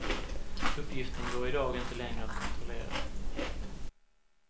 Uppgiften går i dag inte längre att kontrollera.